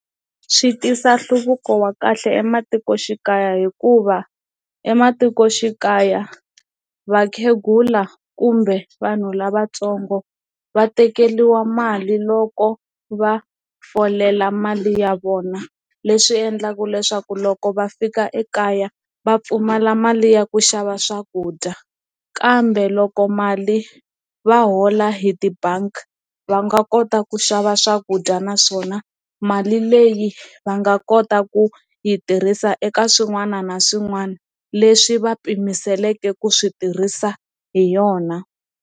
Swi tisa nhluvuko wa kahle ematikoxikaya hikuva ematikoxikaya vakhegula kumbe vanhu lavatsongo va tekeriwa mali loko va folela mali ya vona leswi endlaka leswaku loko va fika ekaya va pfumala mali ya ku xava swakudya kambe loko mali va hola hi tibangi va nga kota ku xava swakudya naswona mali leyi va nga kota ku yi tirhisa eka swin'wana na swin'wana leswi va pimile seleke ku swi tirhisa hi yona.